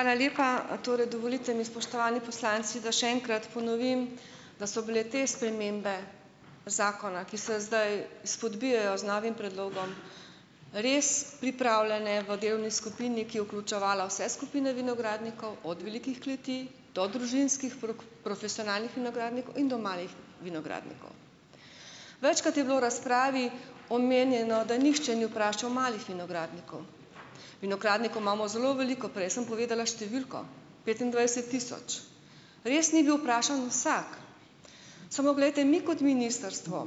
Hvala lepa! Torej, dovolite mi, spoštovani poslanci, da še enkrat ponovim, da so bile te spremembe zakona, ki se zdaj izpodbijajo z novim predlogom res pripravljene v delovni skupini, ki je vključevala vse skupine vinogradnikov, od velikih kleti do družinskih profesionalnih vinogradnikov in do malih vinogradnikov. Večkrat je bilo v razpravi omenjeno, da nihče ni vprašal malih vinogradnikov. Vinogradnikov imamo zelo veliko, prej sem povedala številko - petindvajset tisoč. Res ni bil vprašan vsak, samo glejte, mi kot ministrstvo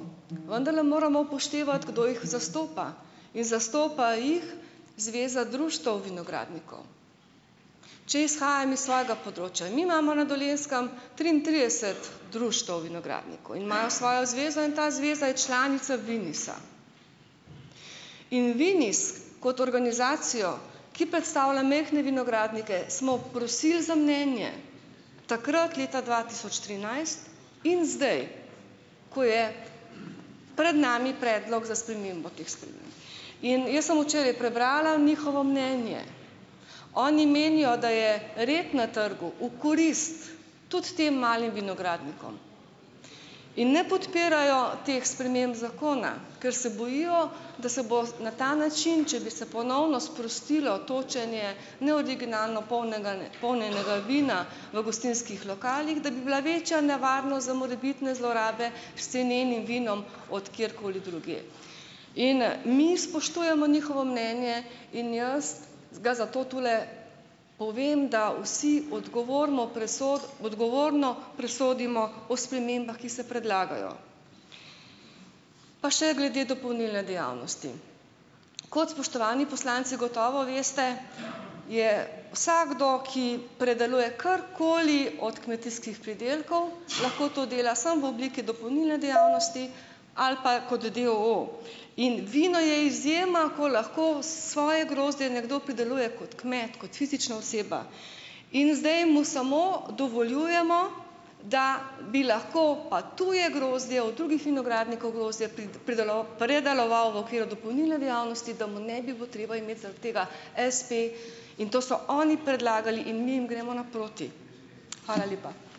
vendarle moramo upoštevati, kdo jih zastopa in zastopa jih Zveza društev vinogradnikov. Če izhajam iz svojega področja, mi imamo na Dolenjskem triintrideset društev vinogradnikov in imajo svojo zvezo in ta zveza je članica Vinisa, in Vinis kot organizacijo, ki predstavlja majhne vinogradnike, smo prosili za mnenje, takrat, leta dva tisoč trinajst in zdaj, ko je pred nami predlog za spremembo teh sprememb. In jaz sem včeraj prebrala njihovo mnenje. Oni menijo, da je red na trgu v korist tudi tem malim vinogradnikom in ne podpirajo teh sprememb zakona, ker se bojijo, da se bo na ta način, če bi se ponovno sprostilo točenje neoriginalno polnjenega polnjenega vina v gostinskih lokalih, da bi bila večja nevarnost za morebitne zlorabe s cenenim vinom od kjerkoli drugje. In, mi spoštujemo njihovo mnenje in jaz ga zato tule povem, da vsi odgovorno odgovorno presodimo o spremembah, ki se predlagajo. Pa še glede dopolnilne dejavnosti. Kot spoštovani poslanci gotovo veste, je vsakdo, ki predeluje karkoli od kmetijskih pridelkov, lahko to dela samo v obliki dopolnilne dejavnosti ali pa kot d. o. o. In vino je izjema, ko lahko svoje grozdje nekdo prideluje kot kmet, kot fizična oseba in zdaj mu samo dovoljujemo, da bi lahko pa tuje grozdje od drugih vinogradnikov grozdje predeloval v okviru dopolnilne dejavnosti, da mu ne bi bilo treba imeti zaradi tega espe in to so oni predlagali in mi jim gremo naproti. Hvala lepa.